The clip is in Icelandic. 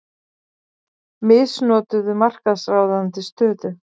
Misnotuðu markaðsráðandi stöðu